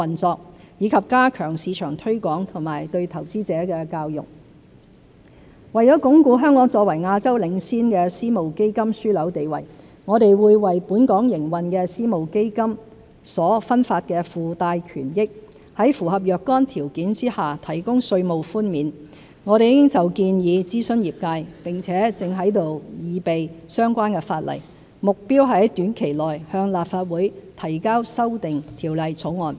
進一步促進私募基金的發展為了鞏固香港作為亞洲領先的私募基金樞紐地位，我們會為在本港營運的私募基金所分發的附帶權益，在符合若干條件下，提供稅務寬免。我們已就建議諮詢業界，並正擬備相關法例，目標是在短期內向立法會提交修訂條例草案。